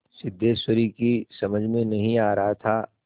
सिद्धेश्वरी की समझ में नहीं आ रहा था